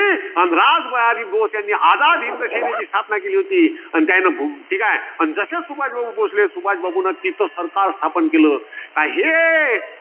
अन रात बोस यांनी आझाद हिंद सेनेची स्थापना केली होती. अन त्या~ ठीकाय. अन जसं सुभाषबाबू पोहोचले. सुभाषबाबूंनी तिथं सरकार स्थापन केलं. काय हे